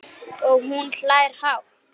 Og hún hlær hátt.